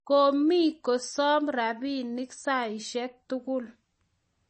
komie kosomo rabinik saishek tugul